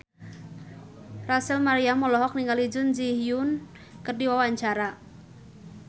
Rachel Maryam olohok ningali Jun Ji Hyun keur diwawancara